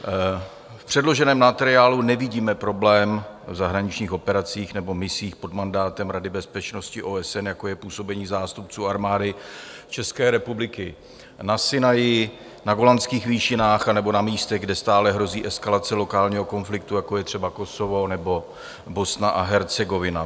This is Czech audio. V předloženém materiálu nevidíme problém v zahraničních operacích nebo misích pod mandátem Rady bezpečnosti OSN, jako je působení zástupců Armády České republiky na Sinaji, na Golanských výšinách nebo na místech, kde stále hrozí eskalace lokálního konfliktu, jako je třeba Kosovo nebo Bosna a Hercegovina.